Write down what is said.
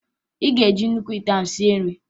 Ị ga-eji nnukwu ite ahụ sie nri!